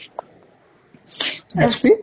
ST ?